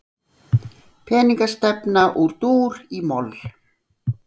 Peningastefna úr dúr í moll